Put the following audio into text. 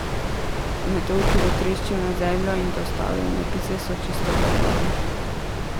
Meteor, ki bo treščil na Zemljo, in dostavljene pice so čisto dovolj.